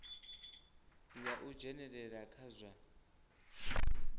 ya u dzhenelela kha zwa